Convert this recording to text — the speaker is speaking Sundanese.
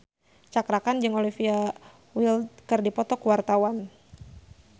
Cakra Khan jeung Olivia Wilde keur dipoto ku wartawan